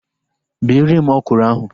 Bere m ọkwụrụ ahu!